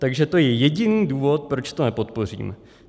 Takže to je jediný důvod, proč to nepodpořím.